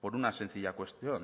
por una sencilla cuestión